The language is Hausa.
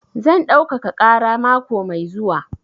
Zan ɗaukaka ƙara mako mai zuwa.